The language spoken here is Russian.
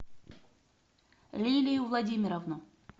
лилию владимировну